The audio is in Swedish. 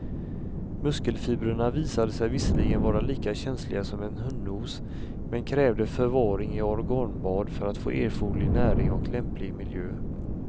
Muskelfibrerna visade sig visserligen vara lika känsliga som en hundnos men krävde förvaring i organbad för att få erforderlig näring och lämplig miljö.